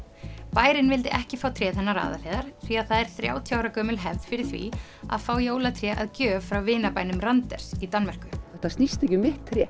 bærinn vildi ekki fá tréð hennar Aðalheiðar því að það er þrjátíu ára gömul hefð fyrir því að fá jólatré að gjöf frá vinabænum Randers í Danmörku þetta snýst ekki um mitt tré